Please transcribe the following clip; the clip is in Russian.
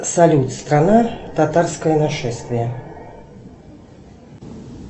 салют страна татарское нашествие